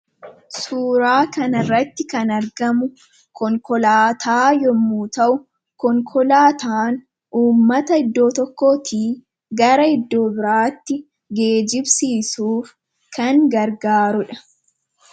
Suuraa kana irratti kan argamu konkolaataa yommuu ta'u konkolaataan uummata iddoo tokkootii gara iddoo biraatti geejjibsiisuuf kan gargaaruudha.